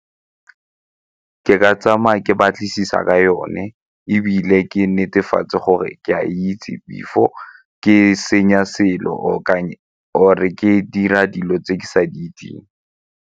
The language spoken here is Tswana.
Ke ka tsamaya ke batlisisa ka yone ebile ke netefatse gore ke a itse before ke senya selo or-e ke dira dilo tse ke sa di itseng.